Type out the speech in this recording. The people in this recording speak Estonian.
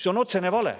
See on otsene vale.